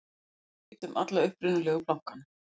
loks hafði verið skipt um alla upprunalegu plankana